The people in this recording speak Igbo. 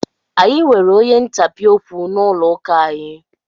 Anyị nwere onye ntapị okwu n'ụlọ ụka anyị.